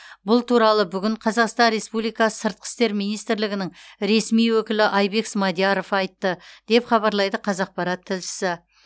бұл туралы бүгін қазақстан республикасы сыртқы істер министрлігінің ресми өкілі айбек смадияров айтты деп хабарлайды қазақпарат тілшісі